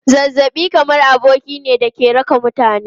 Zazzabi kamar aboki ne da ke raka mutane.